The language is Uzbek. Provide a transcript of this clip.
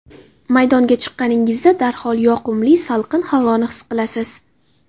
Maydonga chiqqaningizda, darhol yoqimli salqin havoni his qilasiz.